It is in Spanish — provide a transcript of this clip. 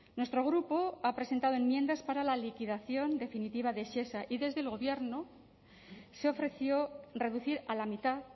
nuestro grupo ha presentado enmiendas para la liquidación definitiva de shesa y desde el gobierno se ofreció reducir a la mitad